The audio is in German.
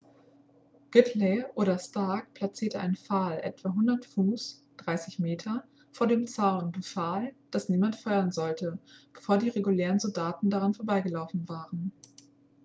gridley oder stark platzierte einen pfahl etwa 100 fuß 30 m vor dem zaun und befahl dass niemand feuern sollte bevor die regulären soldaten daran vorbeigelaufen waren